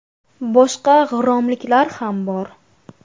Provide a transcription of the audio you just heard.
Boshqa g‘irromliklar ham bor.